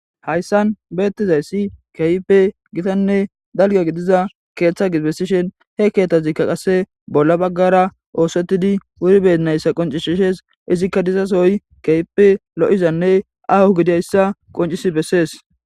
hayssan beettizayssi kaype gitanne dalga gidiza keeththa gibessishen he keeththazikka qasse bolla baggara oosettidi wuri bennayssa qoncishishes izikka dizasoy keype lo7izanne ahu gidayssa qoncisi bessees